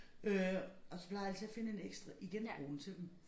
Øh og så plejer jeg altid at finde en ekstra i genbrugen til dem